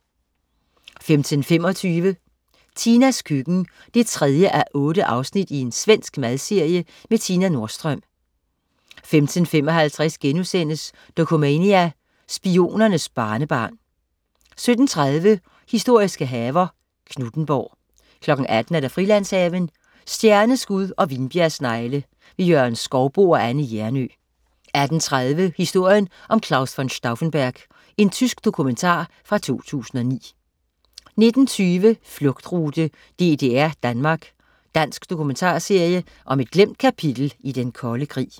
15.25 Tinas køkken 3:8. Svensk madserie med Tina Nordström 15.55 Dokumania: Spionernes barnebarn* 17.30 Historiske haver. Knuthenborg 18.00 Frilandshaven. Stjerneskud og vinbjergsnegle. Jørgen Skouboe og Anne Hjernøe 18.30 Historien om Claus von Stauffenberg. Tysk dokumentar fra 2009 19.20 Flugtrute: DDR-Danmark. Dansk dokumentarserie om et glemt kapitel i Den Kolde Krig